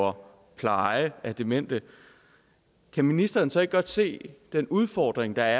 om pleje af demente kan ministeren så ikke godt se den udfordring der